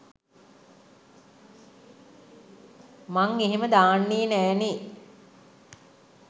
මං එහෙම දාන්නේ නෑ නේ!